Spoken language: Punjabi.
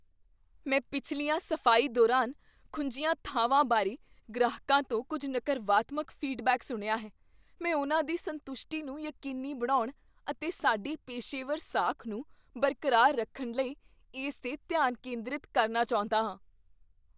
ਮੈਂ ਪਿਛਲੀਆਂ ਸਫ਼ਾਈ ਦੌਰਾਨ ਖੁੰਝੀਆਂ ਥਾਵਾਂ ਬਾਰੇ ਗ੍ਰਾਹਕਾਂ ਤੋਂ ਕੁੱਝ ਨਕਰਵਾਤਮਕ ਫੀਡਬੈਕ ਸੁਣਿਆ ਹੈ। ਮੈਂ ਉਹਨਾਂ ਦੀ ਸੰਤੁਸ਼ਟੀ ਨੂੰ ਯਕੀਨੀ ਬਣਾਉਣ ਅਤੇ ਸਾਡੀ ਪੇਸ਼ੇਵਰ ਸਾਖ ਨੂੰ ਬਰਕਰਾਰ ਰੱਖਣ ਲਈ ਇਸ 'ਤੇ ਧਿਆਨ ਕੇਂਦਰਤ ਕਰਨਾ ਚਾਹੁੰਦਾ ਹਾਂ।